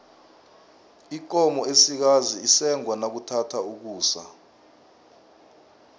ikomo esikazi isengwa nakuthatha ukusa